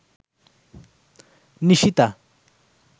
Nishita